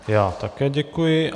Já také děkuji.